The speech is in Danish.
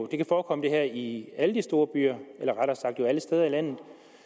kan forekomme i alle de store byer eller rettere sagt alle steder i landet